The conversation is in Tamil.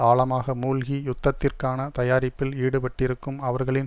ஆழமாக மூழ்கி யுத்தத்திற்கான தயாரிப்பில் ஈடுபட்டிருக்கும் அவர்களின்